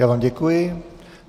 Já vám děkuji.